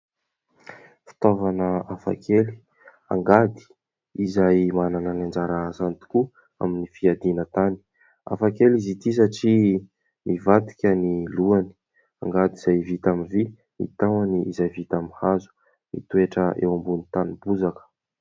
Fitaovana hafakely: "angady", izay manana ny anjara asany tokoa amin'ny fiadiana tany, hafakely izy ity satria mivadika ny lohany; angady izay vita amin'ny vy, ny tahony izay vita amin'ny hazo, mitoetra eo ambonin' ny tany bozaka.